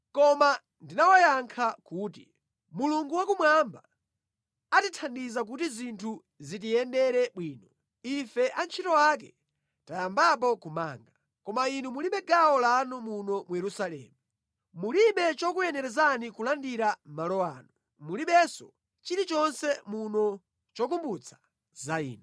Koma ndinawayankha kuti, “Mulungu Wakumwamba atithandiza kuti zinthu zitiyendere bwino. Ife antchito ake tiyambapo kumanga. Koma inu mulibe gawo lanu muno mu Yerusalemu. Mulibe chokuyenerezani kulandira malo ano. Mulibenso chilichonse muno chokumbutsa za inu.”